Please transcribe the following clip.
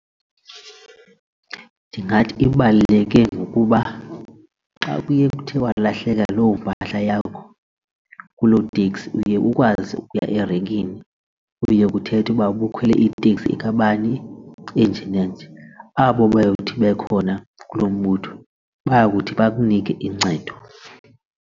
Ndingathi ibaluleke ngokuba xa kuye kuthe kwalahlekwa loo mpahla yakho kuloo teksi uye ukwazi ukuya erenkini kuye kuthethe uba ubukhwele iteksi kabani enje nanje, abo bayothi bekhona kulo moto bayakuthi bakunike uncedo.